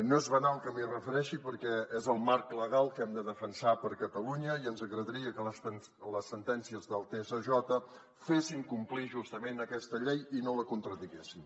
no és banal que m’hi refereixi perquè és el marc legal que hem de defensar per a catalunya i ens agradaria que les sentències del tsj fessin complir justament aquesta llei i no la contradiguessin